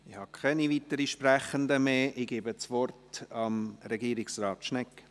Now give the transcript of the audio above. Ich habe keine weiteren Sprechenden mehr auf der Liste, ich gebe das Wort Regierungsrat Schnegg.